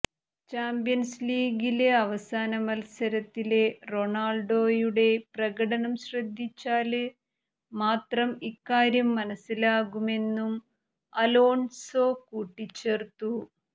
champions ലീഗില് അവസാന മത്സരത്തിലെ റൊണാള്ഡോയുടെ പ്രകടനം ശ്രദ്ധിച്ചാല് മാത്രം ഇക്കാര്യം മനസ്സിലാകുമെന്നും അലോണ്സോ കൂട്ടിച്ചേര്ത്തു